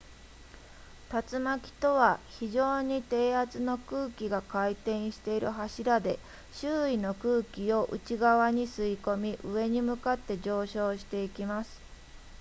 竜巻とは非常に低圧の空気が回転している柱で周囲の空気を内側に吸い込み上に向かって上昇していきます